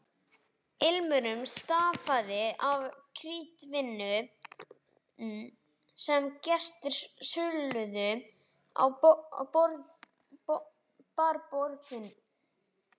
Ilmurinn stafaði af kryddvínum sem gestir sulluðu á barborðin.